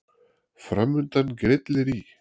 Framundan grillir í